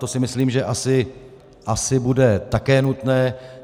To si myslím, že asi bude také nutné.